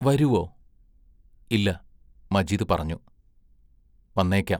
വരുവോ?-ഇല്ല മജീദ് പറഞ്ഞു: വന്നേക്കാം.